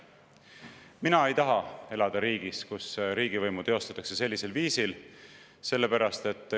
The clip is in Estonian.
Mina ei taha elada riigis, kus riigivõimu teostatakse sellisel viisil.